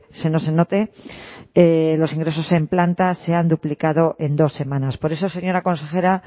se note los ingresos en planta se han duplicado en dos semanas por eso señora consejera